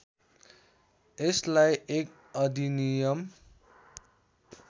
यसलाई एक अधिनियम